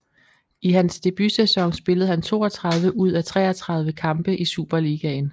I hans debutsæson spillede han 32 ud af 33 kampe i Superligaen